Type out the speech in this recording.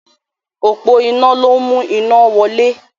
Òpó iná ló ń mú iná wọlé.